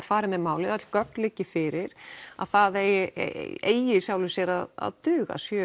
farið með málið öll gögn liggi fyrir það eigi eigi í sjálfu sér að duga sjö